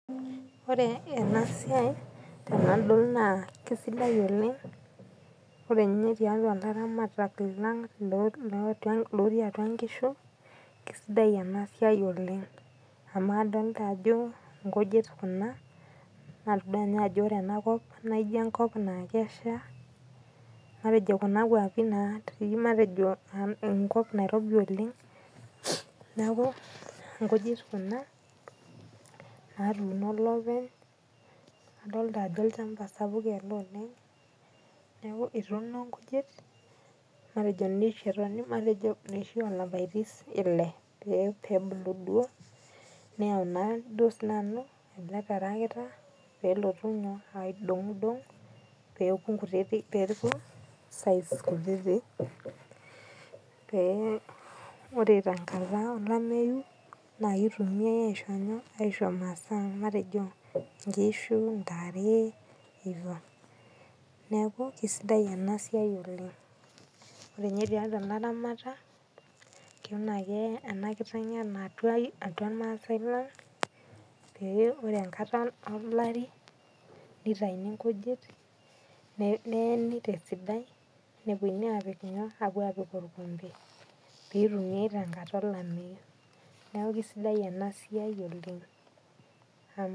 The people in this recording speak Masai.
Ore enaa siai tenadol naa kisidai oleng'. Ore ninye tiatua ilaramatak lang' looti atua inkishu kisidai enaa siai oleng' amu adolita ajo nkujit kuna. Natodua ninye ajo ore enaa kop naa ijo enkop naa kesha matejo kuna kuapi naati matejo enkop nairobi oleng' neeku inkujit kuna natuno olepeny. Adolita ajo olchamba sapuk ele oleng'. Neeku etuno nkujit matejo noshi olapaitin ile pebulu duo. Neyau sii duo ele tarakita pelotu naa aidong'i dong' peeku nkititik size kutitik pee ore tenkata olameyu naa kitumiai aisho nyoo? Aishoo imaasa matejo inkishu intare hivo. Neeku kisidai ena siai oleng' . Ore ninye tiatua ilaramatak kena ena kiteng' tiatua irmasae lang' pee ore enkata olari, nitaini inkujit neeni tesidai neponunui apik inyooo? Orkombe. Pitumiai tenkata olameyu. Neeku kisidai ena siai oleng'.